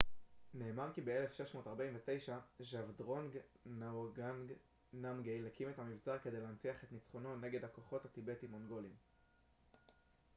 נאמר כי ב-1649 ז'אבדרונג נגוואנג נאמגייל הקים את המבצר כדי להנציח את נצחונו נגד הכוחות הטיבטיים-מונגוליים